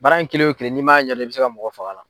Baara in kelen o kelen ni m'a ɲɛdɔn, i bɛ se ka mɔgɔ faga a la.